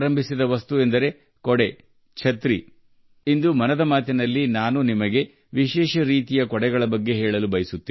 ಇಂದು 'ಮನ್ ಕಿ ಬಾತ್' ನಲ್ಲಿ ನಾನು ನಿಮಗೆ ಒಂದು ವಿಶೇಷ ರೀತಿಯ ಛತ್ರಿಯ ಬಗ್ಗೆ ಹೇಳಲು ಬಯಸುತ್ತೇನೆ